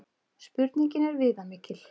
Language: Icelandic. Spurningin er viðamikil.